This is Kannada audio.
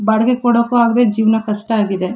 ಬಾಡಿಗೆ ಕೊಡಕ್ಕು ಆಗದ್ದೆ ಜೀವ್ನ ಕಷ್ಟ ಆಗಿದೆ.